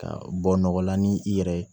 Ka bɔ nɔgɔ la ni i yɛrɛ ye